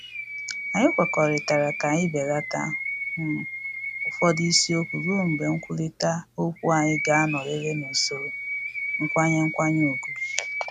Anyị kwekọrịtara ka anyị belata um ụfọdụ isiokwu ruo mgbe nkwurịta okwu anyị ga-anọrịrị n’usoro nkwanye nkwanye ugwu